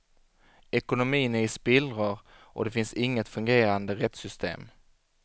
Ekonomin är i spillror och det finns inget fungerande rättssystem.